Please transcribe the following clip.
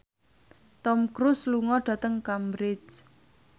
Tom Cruise lunga dhateng Cambridge